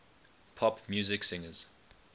pop music singers